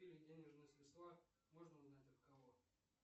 денежные средства нужно узнать от кого